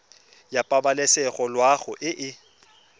ya pabalesego loago e e